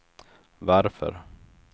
varför